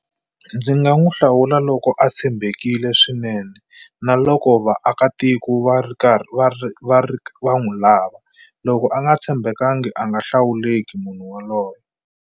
Ndzi nga n'wu hlawula loko a tshembekile swinene na loko vaakatiko va ri karhi va ri va ri va n'wi lava loko a nga tshembekangi a nga hlawuleki munhu waloye.